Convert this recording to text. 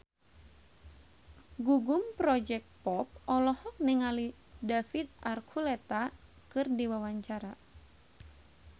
Gugum Project Pop olohok ningali David Archuletta keur diwawancara